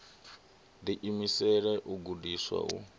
ḓi imisela u gudiswa u